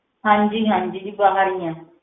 ਹਾਂਜੀ ਹਾਂਜੀ ਜੀ ਬਾਹਰ ਹੀ ਹਾਂ।